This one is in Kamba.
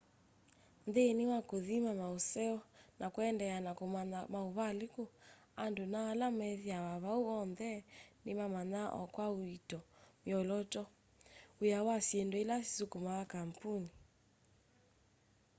nthini wa kuthima mauseo na kuendeea na kumanya mauvaliku andu na ala methiawa vau oonthe nimamanyaa o kwa uito myolooto wia na syindu ila isukumaa kampuni